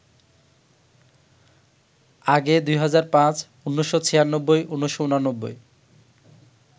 আগে ২০০৫, ১৯৯৬, ১৯৮৯